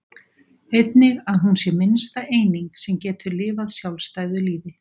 einnig að hún sé minnsta eining sem getur lifað sjálfstæðu lífi